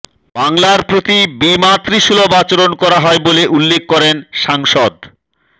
বাংলার প্রতি বিমাতৃসুলভ আচরণ করা হয় বলে উল্লেখ করেন সাংসদ